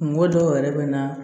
Kungo dɔw yɛrɛ bɛ na